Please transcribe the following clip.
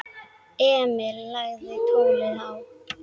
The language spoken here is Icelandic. Emil lagði tólið á.